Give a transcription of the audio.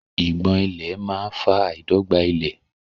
Ìgbọ̀n ìlẹ̀ máa fa àìdọ́gba ilẹ̀.